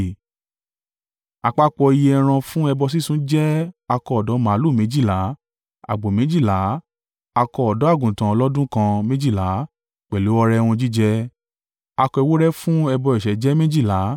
Àpapọ̀ iye ẹran fún ẹbọ sísun jẹ́ akọ ọ̀dọ́ màlúù méjìlá, àgbò méjìlá, akọ ọ̀dọ́-àgùntàn ọlọ́dún kan méjìlá pẹ̀lú ọrẹ ohun jíjẹ. Akọ ewúrẹ́ fún ẹbọ ẹ̀ṣẹ̀ jẹ́ méjìlá.